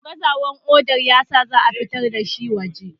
gazawar kodar ya sa za a fitar da shi waje